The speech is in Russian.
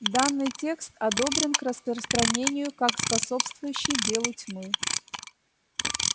данный текст одобрен к распространению как способствующий делу тьмы